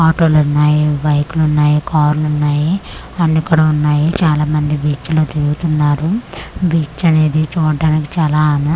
ఆటోలున్నాయి బైకులున్నాయి కర్లున్నాయి అన్ని కూడ ఉన్నాయి చాలా మంది బీచ్లో తిరుగుతున్నారు బీచ్ అనేది చూట్టానికి చాలా అనా'--'